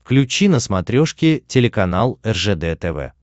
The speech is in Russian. включи на смотрешке телеканал ржд тв